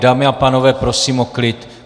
Dámy a pánové, prosím, o klid!